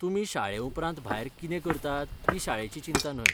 तुमी शाळेउपरांत भायर कितें करतात ती शाळेची चिंता न्हय.